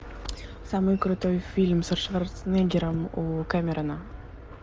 самый крутой фильм со шварцнеггером у кэмерона